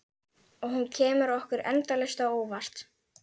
Og hún kemur okkur endalaust á óvart.